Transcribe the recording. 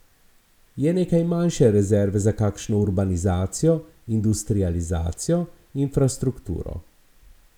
Je nekaj manjše rezerve za kakšno urbanizacijo, industrializacijo, infrastrukturo.